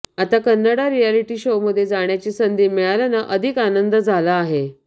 आता कन्नडा रिअॅलिटी शोमध्ये जाण्याची संधी मिळाल्यानं अधिक आनंद झाला आहे